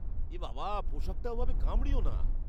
এ বাবা, পোশাকটা ওভাবে কামড়িয়ো না।